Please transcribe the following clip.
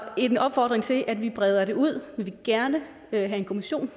en opfordring til at vi breder det ud vi vil gerne have en kommission